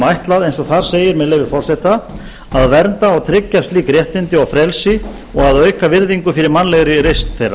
ætlað eins og þar segir með leyfi forseta að vernda og tryggja slík réttindi og frelsi og að auka virðingu fyrir mannlegri reisn þeirra